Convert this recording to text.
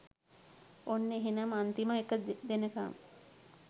ඔන්න එහෙනම් අන්තිම එක දෙනකම්